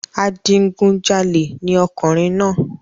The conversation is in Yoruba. Adigunjalè ni ọkùnrin náà